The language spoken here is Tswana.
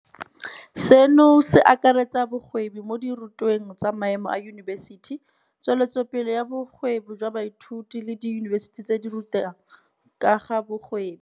Seno se akaretsa bogwebi mo dirutweng tsa maemo a yunibesithi, tsweletsopele ya bogwebi jwa baithuti le diyunibesithi tse di rutang ka ga bogwebi.